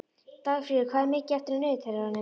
Dagfríður, hvað er mikið eftir af niðurteljaranum?